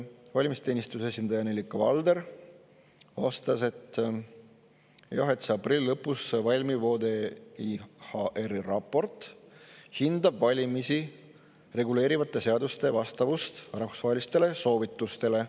Valimisteenistuse esindaja Nellika Valder vastas, et jah, see aprilli lõpus valmiv ODIHR-i raport hindab valimisi reguleerivate seaduste vastavust rahvusvahelistele soovitustele.